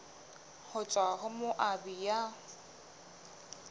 ho tswa ho moabi ya